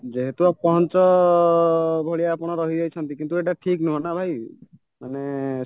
ଯେହେତୁ ଅପହଞ୍ଚ ଭଳିଆ ଆପଣ ରହିଯାଇଛନ୍ତି କିନ୍ତୁ ଏଇଟା ଠିକ ନୁହଁନା ଭାଇ ମାନେ